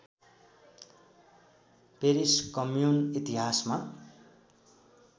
Paris commune इतिहासमा